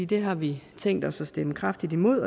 det har vi tænkt os at stemme kraftigt imod